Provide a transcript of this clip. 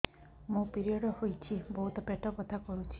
ମୋର ପିରିଅଡ଼ ହୋଇଛି ବହୁତ ପେଟ ବଥା କରୁଛି